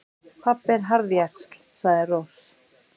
Pabbi er harðjaxl, sagði Rós.